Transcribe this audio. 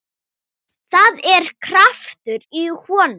Það er kraftur í honum.